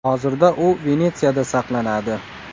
Hozirda u Venetsiyada saqlanadi.